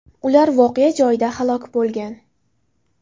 Ular voqea joyida halok bo‘lgan.